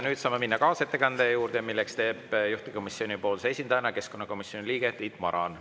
Nüüd saame minna kaasettekande juurde, mille teeb juhtivkomisjoni esindajana keskkonnakomisjoni liige Tiit Maran.